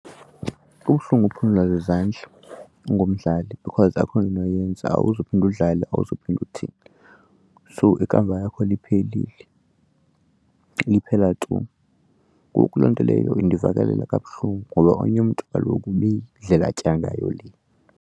Kubuhlungu ukuphululwa zizandla ungumdlali because akukho unoyenza awuzuphinde udlale awuzuphinde uthini. So ikamva yakho liphelile liphela tu. Ngoku loo nto leyo indivakalela kabuhlungu ngoba omnye umntu kaloku ibiyindlela atya ngayo le.